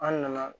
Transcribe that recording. An nana